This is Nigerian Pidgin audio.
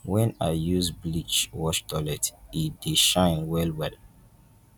wen i use bleach wash toilet e dey shine wellwell